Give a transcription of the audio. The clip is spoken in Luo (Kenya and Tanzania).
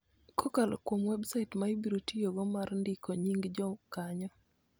kokalo kuom websait ma ibiro tiyogo mar ndiko nying� jokanyo.